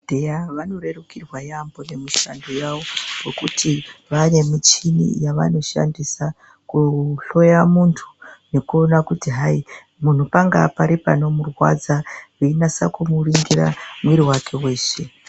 ...dheya vanorerukirwa yaambo nemushando yavo ngokuti vaanemuchini yavanoshandisa kuhloya muntu nekuona kuti hayi, muntu pangaa pari panomurwadza veinasa kumuningira mwiiri wake weshe.